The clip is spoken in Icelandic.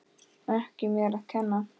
Ekki mér að kenna!